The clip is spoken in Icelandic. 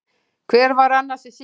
Hver var annars í símanum?